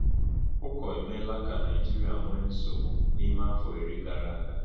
Ụkọ emeela ka Naijiria nwee nsogbu n’ime afọ iri gara aga.